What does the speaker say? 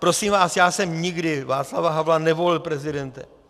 Prosím vás, já jsem nikdy Václava Havla nevolil prezidentem.